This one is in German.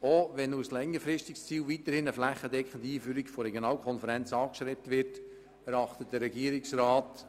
Wenngleich als längerfristiges Ziel weiterhin eine flächendeckende Einführung von Regionalkonferenzen angestrebt wird, erachtet der Regierungsrat